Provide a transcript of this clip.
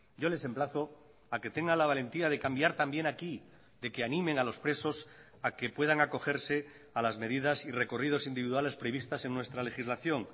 yo les emplazo a que tenga la valentía de cambiar también aquí de que animen a los presos a que puedan acogerse a las medidas y recorridos individuales previstas en nuestra legislación